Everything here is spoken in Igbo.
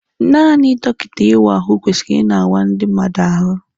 Naanị dọkịta ị wa ahụ kwesịrị ị na awa ndi mmadụ ahụ.